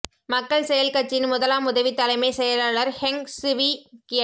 மக்கள் செயல் கட்சியின் முதலாம் உதவி தலைமைச் செயலாளர் ஹெங் சுவீ கியட்